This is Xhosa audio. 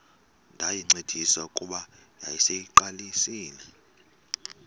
ndayincedisa kuba yayiseyiqalisile